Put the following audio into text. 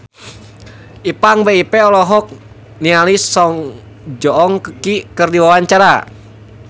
Ipank BIP olohok ningali Song Joong Ki keur diwawancara